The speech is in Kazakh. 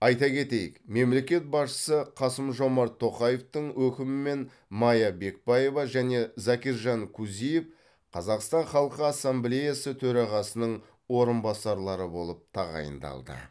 айта кетейік мемлекет басшысы қасым жомарт тоқаевтың өкімімен майя бекбаева және закиржан кузиев қазақстан халқы ассамблеясы төрағасының орынбасарлары болып тағайындалды